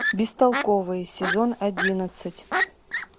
бестолковые сезон одиннадцать